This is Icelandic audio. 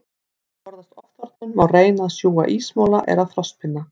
Til að forðast ofþornun, má reyna að sjúga ísmola eða frostpinna.